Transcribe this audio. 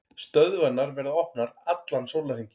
Stöðvarnar verða opnar allan sólarhringinn